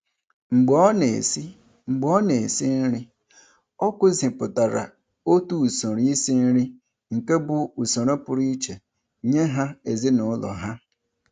Mgbe ọ na-esi Mgbe ọ na-esi nri, ọ kụzipụtara otu usoro isi nri nke bụ usoro pụrụ iche nye ha n'ezinaụlọ ha.